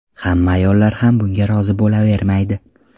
Hamma ayollar ham bunga rozi bo‘lavermaydi.